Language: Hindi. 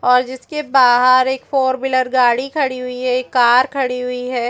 और जिस के बाहर एक फोर व्हीलर गाड़ी खड़ी हुई है एक कार खड़ी हुई है।